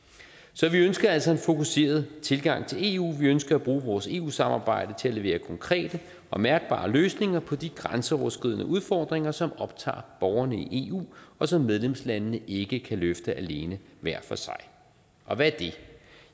så vi ønsker altså en fokuseret tilgang til eu vi ønsker at bruge vores eu samarbejde til at levere konkrete og mærkbare løsninger på de grænseoverskridende udfordringer som optager borgerne i eu og som medlemslandene ikke kan løfte alene hver for sig og hvad er det